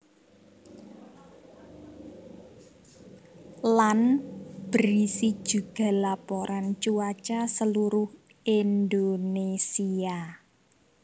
Lan berisi juga laporan cuaca seluruh Indonésia